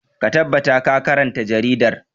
Ka tabbata ka karanta jaridar!